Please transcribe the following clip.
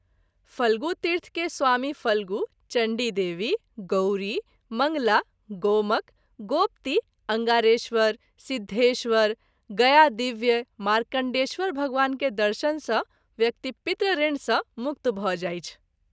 फल्गु तीर्थ के स्वामी फल्गु, चण्डी देवी, गौरी, मंगला, गोमक, गोपति, अंगारेश्वर ,सिद्धेश्वर, गयादिव्य, मार्कण्डेयेश्वर भगवान के दर्शन सँ व्यक्ति पितृऋण सँ मुक्त भ’ जाइछ।